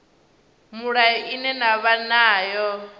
mulayo ine na vha nayo